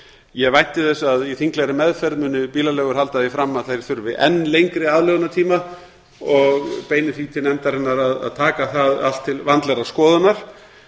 ég vænti þess að í þinglegri meðferð muni bílaleigur halda því fram að þær þurfi enn lengri aðlögunartíma og beini því til nefndarinnar að taka það allt til vandlegrar skoðunar